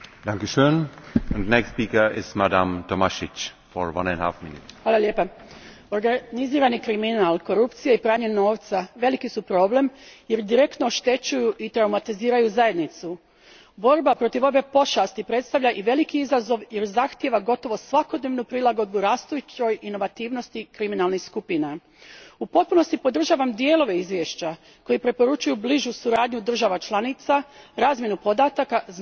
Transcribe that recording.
Gospodine predsjedavajući, organizirani kriminal, korupcija i pranje novca veliki su problem jer direktno oštećuju i traumatiziraju zajednicu. Borba protiv ove pošasti predstavlja i veliki izazov jer zahtijeva gotovo svakodnevnu prilagodbu rastućoj inovativnosti kriminalnih skupina. U potpunosti podržavam dijelove izvješća koji preporučuju bližu suradnju država članica, razmjenu podataka, znanja i iskustava te bolju usklađenost pravosudnih sustava.